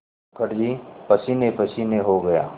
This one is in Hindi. मुखर्जी पसीनेपसीने हो गया